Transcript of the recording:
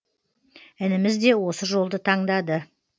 ініміз де осы жолды таңдады